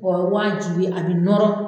O ye waajibi a bɛ nɔrɔ